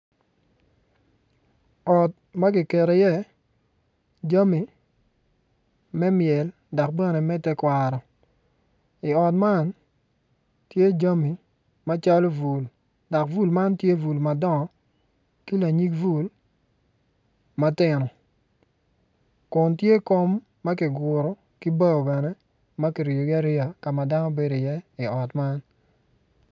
Ot ma giketo iye jami me myel dok bene me tekwaro i ot man tye jami macalo bul dok bul man tye bul madongo ki lanyig bul matino kun tye kom ma kiguru ki bao bene ma ki riyogi ariya ma dano bedi iye i ot man